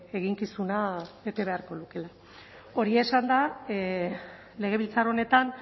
eginkizuna bete beharko lukeela hori esanda legebiltzar honetan